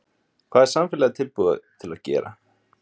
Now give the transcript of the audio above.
Hvað er samfélagið tilbúið til að gera?